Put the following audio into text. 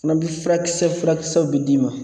Fana bi furakisɛ furakisɛw bɛ d'i ma